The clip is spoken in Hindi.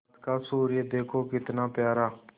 आज का सूर्य देखो कितना प्यारा